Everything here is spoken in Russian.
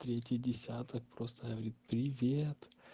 третий десяток просто говорит привет